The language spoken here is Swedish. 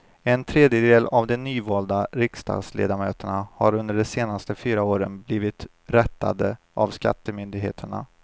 En tredjedel av de nyvalda riksdagsledamöterna har under de senaste fyra åren blivit rättade av skattemyndigheterna.